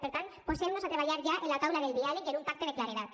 per tant posem nos a treballar ja en la taula del diàleg i en un pacte de claredat